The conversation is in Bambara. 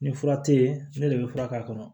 Ni fura te yen ne de be fura k'a kɔnɔ